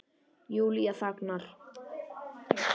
Júlía þagnar.